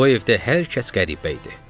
Bu evdə hər kəs qəribə idi.